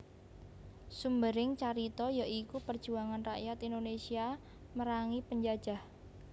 Sumbering carita ya iku perjuangan rakyat Indonesia merangi penjajah